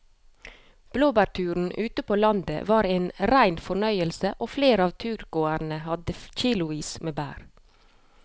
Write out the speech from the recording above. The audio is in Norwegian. Blåbærturen ute på landet var en rein fornøyelse og flere av turgåerene hadde kilosvis med bær.